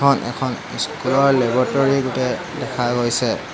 ওপৰত এখন স্কুলৰ লেব'ৰটৰি গোটেই দেখা গৈছে।